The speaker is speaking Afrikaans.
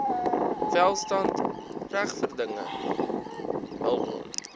welstand regverdige hulpbron